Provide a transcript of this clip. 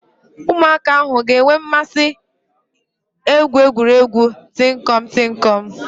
Ụmụaka ahụ ha ga-enwe mmasị egwu egwuregwu tinkọm - tinkọm?